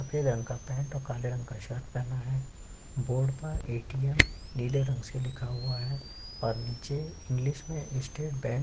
सफेद रंग का पेंट और काले रंग का शर्ट पहना है बोर्ड पर एटीएम नीले रंग से लिखा हुआ हैऔर नीचे इंग्लिश में स्टेट बैंक --